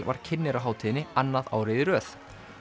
var kynnir á hátíðinni annað árið í röð